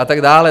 A tak dále.